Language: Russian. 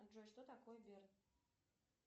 джой что такое берн